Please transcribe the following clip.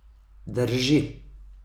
Drži.